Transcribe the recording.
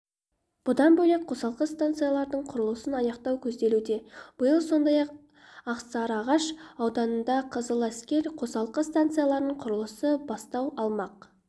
бұдан бөлек қосалқы станциялардың құрылысын аяқтау көзделуде биыл сондай-ақсарыағаш ауданында қызыләскер қосалқы станциясының құрылысы бастау алмақ